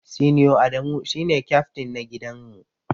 Senior Adamu shine kyaftin na gidan mu.